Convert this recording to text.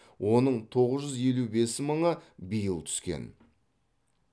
оның тоғыз жүз елу бес мыңы биыл түскен